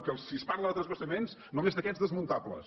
que si es parla de transvasaments només d’aquests desmuntables